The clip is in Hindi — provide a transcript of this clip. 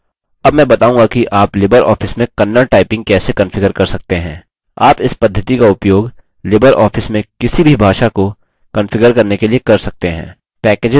अब मैं बताऊँगा कि आप libreoffice में kannada typing कैसे कंफिगर कर सकते हैं आप इस पद्धति का उपयोग libreoffice में किसी भी भाषा को कंफिगर करने के लिए कर सकते हैं